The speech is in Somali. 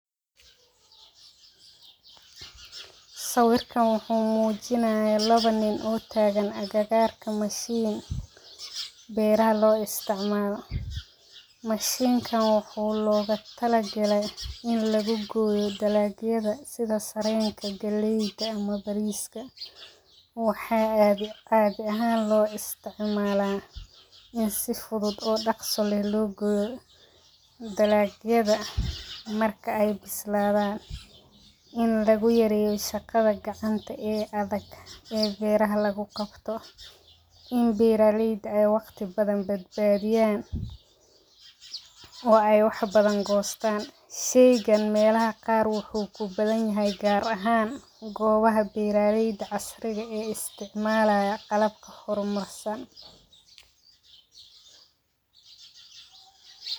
Sawirkan wuxuu mujinayaa lawa nim oo tagan agagarka mashin beeraha lo isticmalo mashinkan wuxuu mujinayaa loga tala galey in lagu goyo dalagyadha sitha sarenta galeyda ama bariska waxaa cag ahan lo isticmala in si fudud oo daqso leh logoyo dalagyaada marka ee bisladhan in lagu yareyo shaqaada gacanta ee adag beeraha lagu qabto in beera leyda waqti badan bad badiyan waxee wax badan hostan sheygan meelaha qaar wuxuu kubadan yahay gobaha beera leyda casriga ee istimalaya qalab hormarsan.